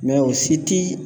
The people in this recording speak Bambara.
Mɛ o si ti